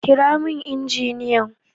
Kira min injiniyan!